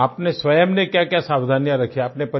आपने स्वयं ने क्याक्या सावधानियाँ रखी आपने